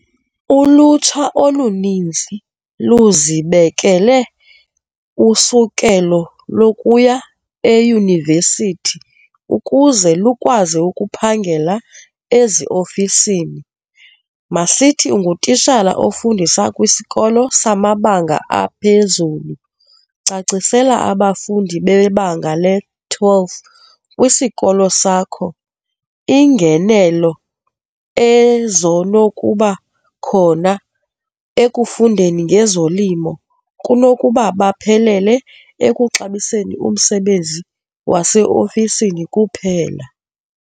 Ulutsha oluninzi luzibekele usukelo lokuya eyunivesithi ukuze lukwazi ukuphangela eziofisini, masithi ungutishala ofundisa kwisikolo samabanga aphezulu. Cacisela abafundi bebanga le-twelve kwisikolo sakho iingenelo ezonokuba khona ekufundeni ngezolimo kunokuba baphelele ekuxabiseni umsebenzi waseofisini kuphela.